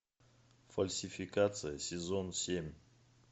фальсификация сезон семь